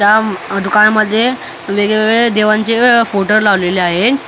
त्या दुकानामध्ये वेगवेगळे देवांचे फोटो लावलेले आहे त्या फोटोम --